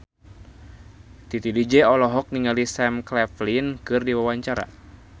Titi DJ olohok ningali Sam Claflin keur diwawancara